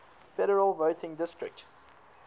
federal voting district